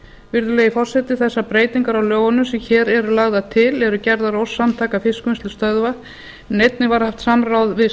virðulegi forseti þessar breytingar á lögunum sem hér eru dagar til eru gerðar að ósk samtaka fiskvinnslustöðva en einnig var haft samráð við